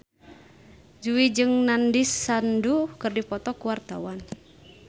Jui jeung Nandish Sandhu keur dipoto ku wartawan